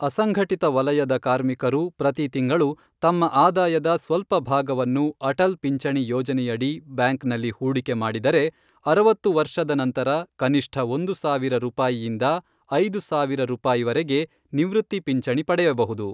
ಅಸಂಘಟಿತ ವಲಯದ ಕಾರ್ಮಿಕರು ಪ್ರತಿ ತಿಂಗಳು ತಮ್ಮ ಆದಾಯದ ಸ್ವಲ್ಪ ಭಾಗವನ್ನು ಅಟಲ್ ಪಿಂಚಣಿ ಯೋಜನೆಯಡಿ ಬ್ಯಾಂಕ್ನಲ್ಲಿ ಹೂಡಿಕೆ ಮಾಡಿದರೆ, ಅರವತ್ತು ವರ್ಷದ ನಂತರ ಕನಿಷ್ಠ ಒಂದು ಸಾವಿರ ರೂಪಾಯಿಯಿಂದ ಐದು ಸಾವಿರ ರೂಪಾಯಿವರೆಗೆ ನಿವೃತ್ತಿ ಪಿಂಚಣಿ ಪಡೆಯಬಹುದು.